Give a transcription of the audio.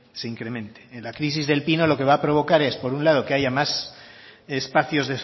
la crisis del pino lo que va provocar es por un lado que haya más espacios